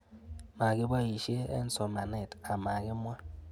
Makipoishe eng'somanet ama kimwa